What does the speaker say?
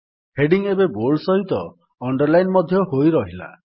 heading ଏବେ bold ସହିତ underline ମଧ୍ୟ ହୋଇରହିଲା